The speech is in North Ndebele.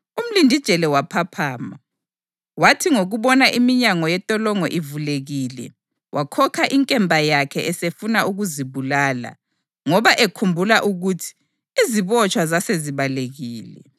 Umlindijele waphaphama, wathi ngokubona iminyango yentolongo ivulekile, wakhokha inkemba yakhe esefuna ukuzibulala ngoba ekhumbula ukuthi izibotshwa zasezibalekile.